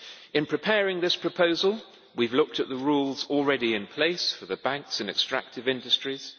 In preparing this proposal we have looked at the rules already in place for the banks in extractive industries.